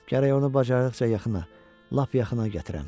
Gərək onu bacarıdıqca yaxına, lap yaxına gətirəm.